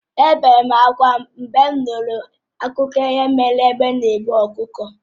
È obere m ákwá mgbe m nụrụ akụkọ ihe mere egbe na-eburu ọkụkọ